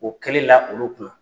O kɛli la olu kunna.